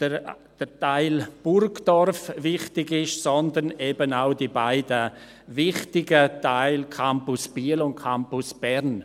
der Teil Burgdorf wichtig ist, sondern eben auch die beiden wichtigen Teile Campus Biel und Campus Bern.